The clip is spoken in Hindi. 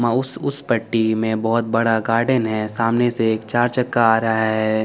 माउस उस पट्टी में बहोत बड़ा गार्डन है सामने से एक चार चक्का आ रहा है।